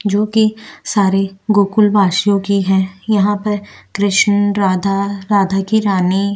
जो कि सारी गोकुल वासियों की हैं और वहाँ पर कृष्ण राधा कृष्ण की रानी --